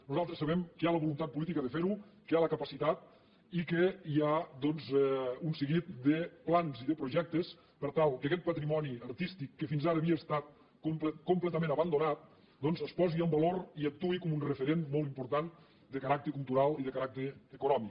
nosaltres sabem que hi ha la voluntat política de fer ho que hi ha la capacitat i que hi ha doncs un seguit de plans i de projectes per tal que aquest patrimoni artístic que fins ara havia estat completament abandonat doncs es posi en valor i actuï com un referent molt important de caràcter cultural i de caràcter econòmic